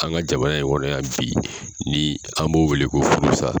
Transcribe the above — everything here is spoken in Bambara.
Kan ka jamana in kɔnɔyan bi, ni an b'o wele ko furu sa.